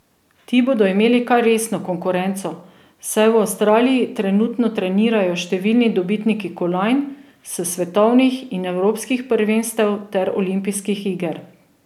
Ti bodo imeli kar resno konkurenco, saj v Avstraliji trenutno trenirajo številni dobitniki kolajn s svetovnih in evropskih prvenstev ter olimpijskih iger.